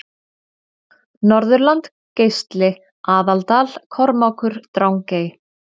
Norðurland Geisli Aðaldal Kormákur Drangey